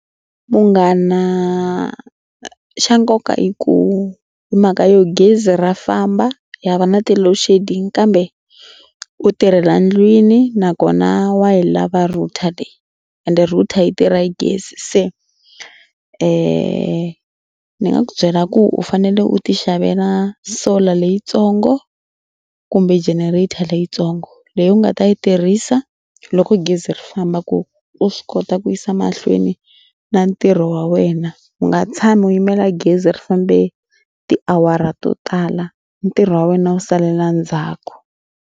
Munghana xa nkoka i ku hi mhaka yo gezi ra famba ha va na ti-loadshedding kambe u tirhela ndlwini nakona wa yi lava router ende router yi tirha gezi. Se ni nga ku byela ku u fanele u tixavela solar leyitsongo kumbe generator leyitsongo leyi u nga ta yi tirhisa loko gezi ri famba ku u swi kota ku yisa mahlweni na ntirho wa wena. U nga tshami u yimela gezi ri fambe tiawara to tala ntirho wa wena wu salela ndzhaku.